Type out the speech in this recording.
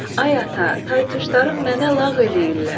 Ay ata, tay-tuşlarım mənə lağ eləyirlər.